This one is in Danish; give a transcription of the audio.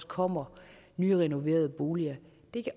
kommer nyrenoverede boliger